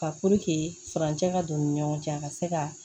Ka furancɛ ka don u ni ɲɔgɔn cɛ a ka se ka